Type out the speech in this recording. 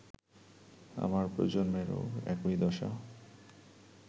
আমার প্রজন্মেরও একই দশা